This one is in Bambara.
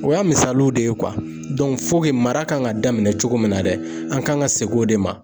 O y'a misaliw de ye , mara kan ka daminɛ cogo min na dɛ ,an kan ka seg'o de ma.